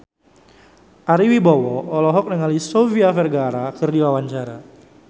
Ari Wibowo olohok ningali Sofia Vergara keur diwawancara